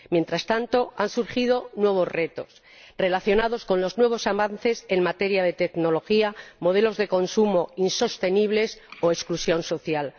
Mientras tanto, han surgido nuevos retos relacionados con los nuevos avances en materia de tecnología, unos modelos de consumo insostenibles o la exclusión social.